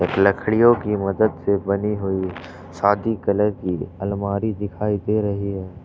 लकड़ियों की मदद से बनी हुई सादी कलर की अलमारी दिखाई दे रही है।